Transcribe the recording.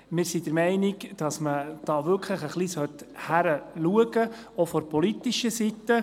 Wir sind der Meinung, dass man da hinschauen soll, auch von politischer Seite.